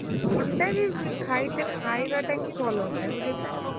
ଅଣ୍ଡା ବି ଖାଇତେ ଖାଇବାଟା ହିଁ ଭଲ ନୁହେଁ ବୁଝିଲୁନା?